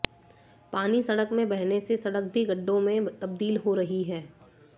पानी सड़क में बहने से सड़क भी गड्ढों में तबदील हो रही है